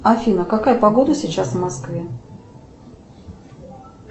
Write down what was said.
афина какая погода сейчас в москве